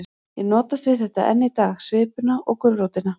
Ég notast við þetta enn í dag, svipuna og gulrótina.